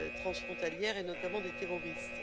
transfrontalières et notamment les terroristes.